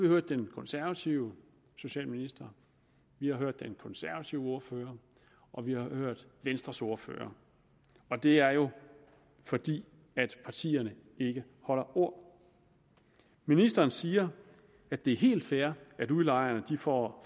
hørt den konservative socialminister vi har hørt den konservative ordfører og vi har hørt venstres ordfører det er jo fordi partierne ikke holder ord ministeren siger at det er helt fair at udlejerne får